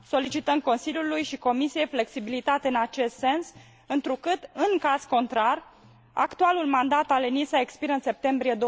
Solicităm Consiliului și Comisiei flexibilitate în acest sens, întrucât, în caz contrar, actualul mandat al ENISA expiră în septembrie